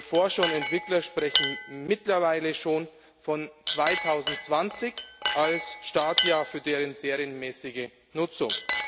Forscher und Entwickler sprechen mittlerweile schon von 2020 als Startjahr für deren serienmäßige Nutzung.